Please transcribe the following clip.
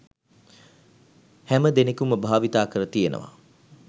හැමදෙනෙකුම භාවිතාකර තියෙනව.